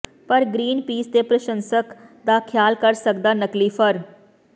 ਪਰ Greenpeace ਦੇ ਪ੍ਰਸ਼ੰਸਕ ਦਾ ਖਿਆਲ ਕਰ ਸਕਦਾ ਨਕਲੀ ਫਰ